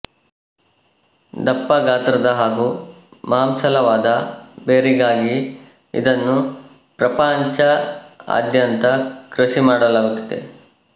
ದಪ್ಪ ಗಾತ್ರದ ಹಾಗೂ ಮಾಂಸಲವಾದ ಬೇರಿಗಾಗಿ ಇದನ್ನು ಪ್ರಪಂಚಾದ್ಯಂತ ಕೃಷಿ ಮಾಡಲಾಗುತ್ತಿದೆ